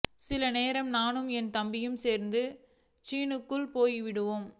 சில நேரம் நானு என் தம்பியும் சேர்ந்து கிச்சனுக்குள்ள போயிடுவோம்